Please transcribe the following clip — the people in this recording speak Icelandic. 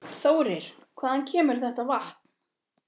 Þórir: Hvaðan kemur þetta vatn?